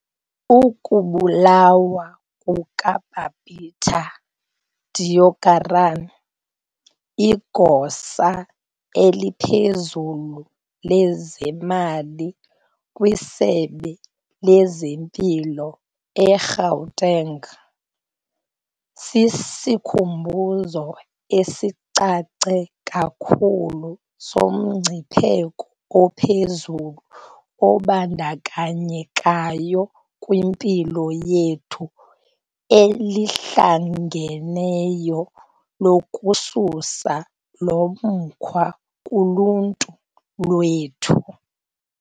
Ukubulawa kuka-Babita Deokaran, igosa eliphezulu lezemali kwisebe lezempilo e-Gauteng, sisikhumbuzo esicace kakhulu somngcipheko ophezulu obandakanyekayo kwiphulo lethu elihlangeneyo lokususa lomkhwa kuluntu lwethu.